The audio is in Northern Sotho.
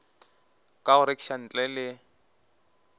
ka go rekiša ntle le